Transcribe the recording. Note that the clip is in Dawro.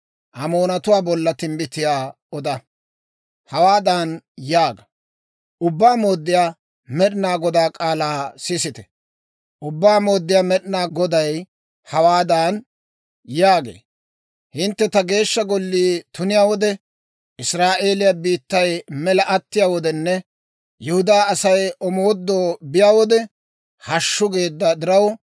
Hawaadan yaaga; ‹Ubbaa Mooddiyaa Med'inaa Godaa k'aalaa sisite. Ubbaa Mooddiyaa Med'inaa Goday hawaadan yaagee; «Hintte ta Geeshsha Gollii tuniyaa wode, Israa'eeliyaa biittay mela attiyaa wodenne Yihudaa Asay omoodoo biyaa wode, Hashshu! geedda diraw,